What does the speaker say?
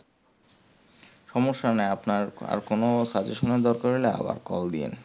সমস্যা নাই আপনার আর কোনো suggestion এর দরকার হলে আবার call দিয়েন